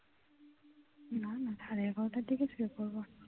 না না সাড়ে এগারোটার দিকে শুয়ে পড়ব